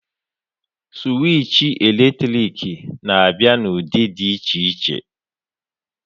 Sụwich eletrik na-abịa n'ụdị dị iche iche.